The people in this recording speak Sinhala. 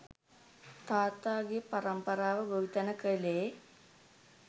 තාත්තගෙ පරම්පරාව ගොවිතැන කළේ.